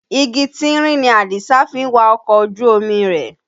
Igi tínrín ni Àdìsá fi ń wa ọkọ̀ ojú omi rẹ̀.